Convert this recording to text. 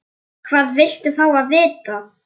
Þú ert bestur.